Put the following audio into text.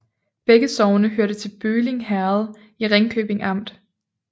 Begge sogne hørte til Bølling Herred i Ringkøbing Amt